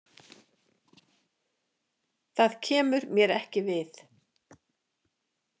Það kemur mér ekki við.